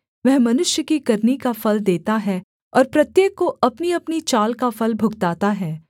वह मनुष्य की करनी का फल देता है और प्रत्येक को अपनीअपनी चाल का फल भुगताता है